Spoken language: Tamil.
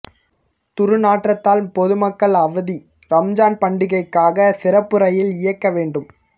துர்நாற்றத்தால் பொதுமக்கள் அவதி ரம்ஜான் பண்டிகைக்காக சிறப்பு ரயில் இயக்க வேண்டும்